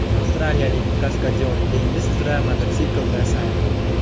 Avstraliyalik kaskadyor dengiz uzra mototsiklda sayr qildi.